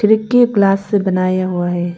खिड़की ग्लास से बनाया हुआ है।